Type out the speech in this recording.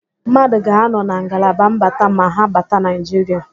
Mmadụ ga-anọ na ngalaba mbata ma ha bata Naịjiria.